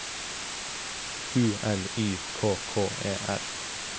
U L Y K K E R